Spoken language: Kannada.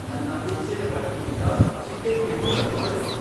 ನನ್ನ ಇಚ್ಛೆಯ ಪಟ್ಟಿಯಿಂದ ಚಿಟ್ಟೆ ಕ್ಲಿಪ್ಗಳನ್ನು ಅಳಿಸಿ